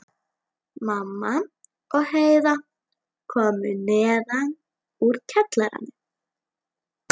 Mamma og Heiða komu neðan úr kjallara.